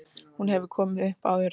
Hún hefur ekki komið upp áður